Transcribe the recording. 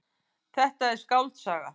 Þetta er skáldsaga.